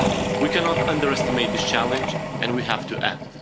US. We cannot underestimate this challenge, and we have to